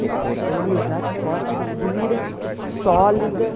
É uma amizade forte, que dura, sólida.